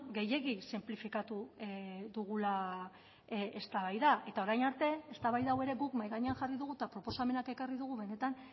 gehiegi sinplifikatu dugula eztabaida eta orain arte eztabaida hau ere guk mahai gainean jarri dugu eta proposamenak ekarri dugu benetan